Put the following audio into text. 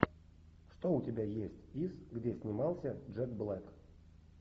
что у тебя есть из где снимался джек блэк